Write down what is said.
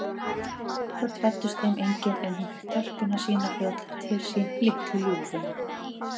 Börn fæddust þeim engin, en hún fékk telpuna sína fljótlega til sín, litlu ljúfuna.